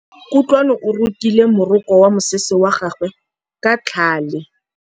Kutlwanô o rokile morokô wa mosese wa gagwe ka tlhale.